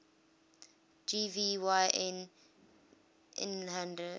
gv yn lhaihder